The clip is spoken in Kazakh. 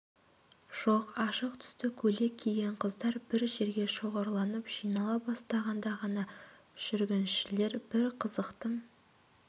жоқ ашық түсті көйлек киген қыздар бір жерге шоғырланып жинала бастағанда ғана жүргіншілер бір қызықтың